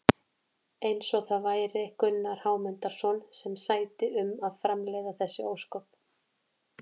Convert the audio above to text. Eins og það væri Gunnar Hámundarson sem sæti um að framleiða þessi ósköp!